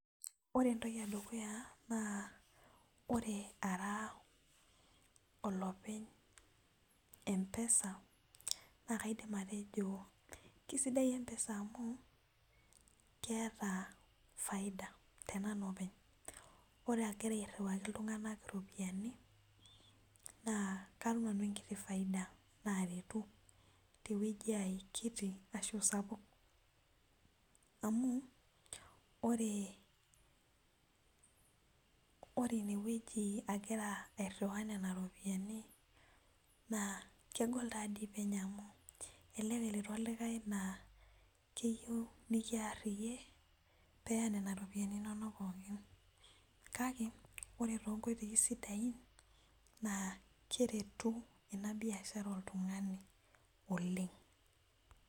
ore entoki edukuya naa ore ara olopeny empesa. naaa kaidim atejo ,kisidai empesa amu keta faida tenanu openy. ore agira airiwaki iltuganak iropiyiani naa katum nanu enkiti faida. naaretu tewueji aai kiti ashu sapuk. amu ore ine wueji agira airiwaa iropiyiani naa kegol taadii penyo. amu elelek elotu olikae naa keyieu nikiar iyie, pee eya nena ropiyiani inonok pooki. kake ore to nkoitoi sidain naa keretu ena biashara oltungani oleng.